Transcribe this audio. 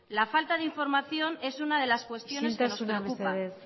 la falta de información es una de las cuestiones que nos preocupan isiltasuna mesedez